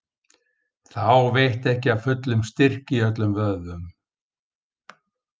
Þá veitti ekki af fullum styrk í öllum vöðvum.